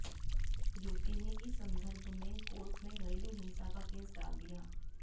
युवती ने इस संदर्भ में कोर्ट में घरेलू हिंसा का केस डाल दिया